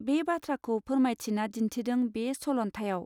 बे बाथ्राखौ फोरमायथिना दिन्थिदों बे सल न्थाइयाव.